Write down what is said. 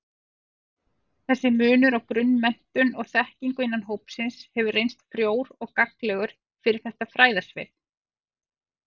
Þessi munur á grunnmenntun og-þekkingu innan hópsins hefur reynst frjór og gagnlegur fyrir þetta fræðasvið.